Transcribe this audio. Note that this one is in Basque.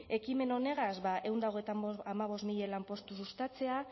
ekimen honegaz ehun eta hogeita hamabost mila lanpostu sustatzea